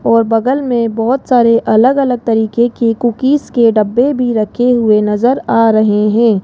और बगल में बहोत सारे अलग अलग तरीके के कुकीज के डब्बे भी रखे हुए नजर आ रहे हैं।